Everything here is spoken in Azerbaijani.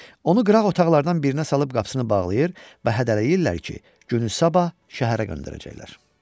Onu qıraq otaqlardan birinə salıb qapısını bağlayır və hədələyirlər ki, günü sabah şəhərə göndərəcəklər.